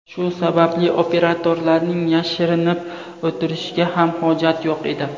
Shu sababli operatorlarning yashirinib o‘tirishiga ham hojat yo‘q edi.